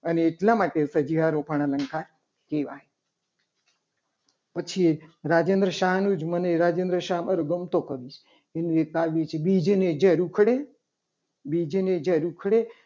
અને એટલા માટે સજીવારોપણ અલંકાર કહેવાય. પછી રાજેન્દ્ર શાહનું જ મને રાજેન્દ્ર શાહનું મારો ગમતો કવિ છે. એનું એક કાવ્ય છે. બીજને ઝાડ ઉખડે બીજને ઝાડ ઉખડે